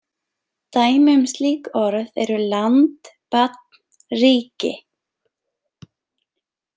Dæmi um slík orð eru land, barn, ríki.